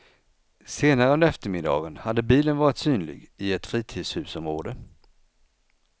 Senare under eftermiddagen hade bilen varit synlig i ett fritidshusområde.